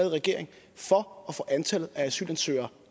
i regering for at få antallet af asylansøgere